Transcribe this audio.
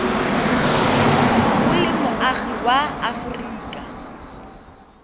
o le moagi wa aforika